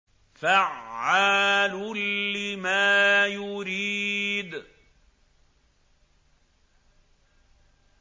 فَعَّالٌ لِّمَا يُرِيدُ